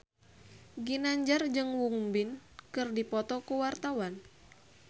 Ginanjar jeung Won Bin keur dipoto ku wartawan